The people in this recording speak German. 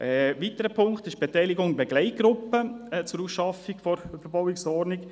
Ein weiterer Punkt ist die Beteiligung in der Begleitgruppe zur Ausarbeitung der Überbauungsordnung.